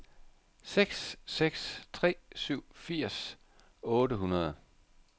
seks seks tre syv firs otte hundrede